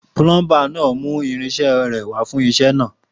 Púlọńbà nà mú ìrínse rẹ wà fún sẹ nà.